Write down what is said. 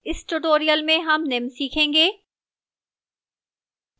इस tutorial में हम निम्न सीखेंगे: